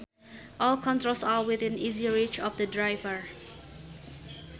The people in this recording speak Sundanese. All controls are within easy reach of the driver